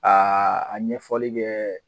Aa a ɲɛfɔli kɛ